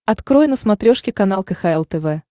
открой на смотрешке канал кхл тв